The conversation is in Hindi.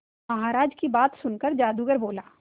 महाराज की बात सुनकर जादूगर बोला